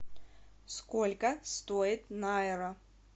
сколько стоит найра